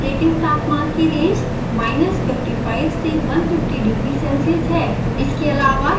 operating तापमान की range 55 से 150 डिग्री सेल्सियस है